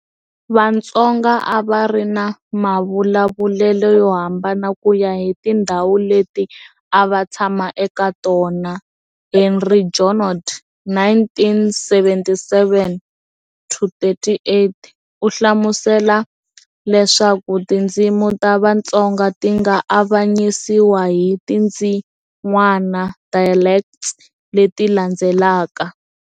Vatsonga a va ri na mavulavulele yo hambana ku ya hi tindhawu leti a va tshama eka tona. Henri Junod, 1977-38, u hlamusela leswaku tindzimi ta Vatsonga ti nga avanyisiwa hi tindzin'wana, dialects, leti landzelaka-